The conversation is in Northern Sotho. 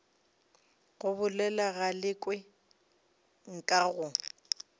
go bolela galekwe nka go